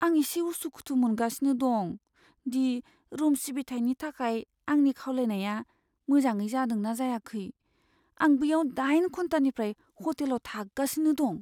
आं एसे उसुखुथु मोनगासिनो दं दि रुम सिबिथायनि थाखाय आंनि खावलायनाया मोजाङै जादों ना जायाखै। आं बैयाव दाइन घन्टानिफ्राय हटेलाव थागासिनो दं।